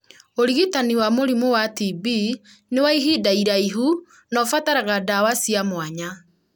ũrigitani wa mũrimũ wa TB nĩ wa ihinda iraihu na ũbataraga ndawa cia mwanya.